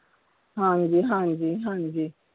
ਹਾਂਜੀ ਹਾਂਜੀ ਹਾਂਜੀ।